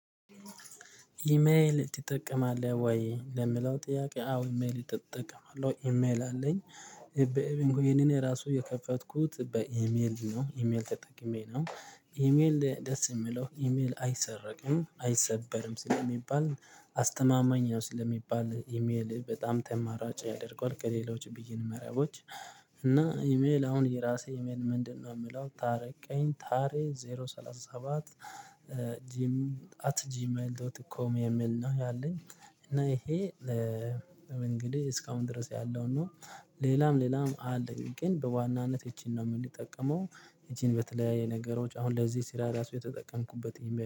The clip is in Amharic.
ኢሜል ትጠቀማለህ ወይ? ለሚለው ጥያቄ አዎ ኢሜል እጠቀማለው ኢሜል አለኝ በኢሜል ይሄንን ራሱ የከፈትኩት በኢሜል ነው ኢሜል ተጠቅሜ ነው። ኢሜል ደስ የምለው ኢሜል አይሰረቅም አይሰበርም ስለሚባል አስተማማኝ ነው ስለሚባል ኢሜል በጣም ተመራጭ ያደርገዋል ከሌሎች ብይን መረቦች። እና ኢሜል አሁን የራሴ ኢሜል ምንድነው? የምለው ታረቀኝ ታሬ ዜሮ ሰላሳ ሰባት ጂም አት ጂም ኤል ዶት እኮ የሚል ነው ያለኝ። እና ይሄ እንግዲህ እስካሁን ድረስ ያለው ነው። ሌላም ሌላም አለኝ ግን በዋናነት እቺን ነው የምንጠቀመው እቺን በተለያየ ነገሮች አሁን ለዚህ ስራ ራሱ የተጠቀምኩበት